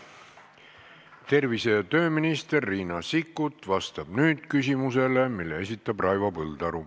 Tervise- ja tööminister Riina Sikkut vastab nüüd küsimusele, mille esitab Raivo Põldaru.